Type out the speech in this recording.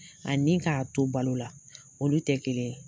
Ani ka to balo la olu tɛ kelen ye.